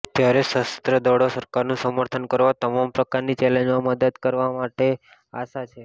ત્યારે સશસ્ત્ર દળો સરકારનું સમર્થન કરવા તમામ પ્રકારની ચેલેન્જમાં મદદ કરાવ માટે આશા છે